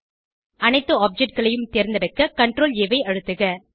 அனைத்து Objectகளையும் தேர்ந்தெடுக்க CTRL ஆ ஐ அழுத்துக